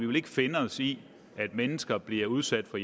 vil finde os i at mennesker bliver udsat for